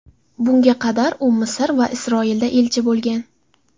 Bunga qadar u Misr va Isroilda elchi bo‘lgan.